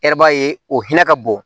o hinɛ ka bon